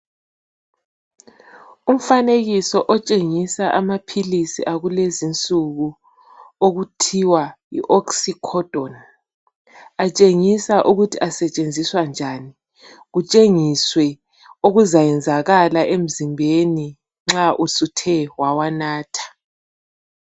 Umfanekiso otshengisa amaphilisi akulezinsuku okuthiwa yiOxycodone. Atshengisa ukuthi asetshenziswa njani. Kutshengiswe okuzayenzakala emzimbeni nxa usuthe wawanatha.